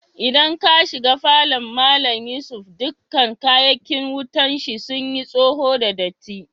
Idan ka shiga falon Mallam Yusuf dukan kayakin wutan shi sun yi soho da datti.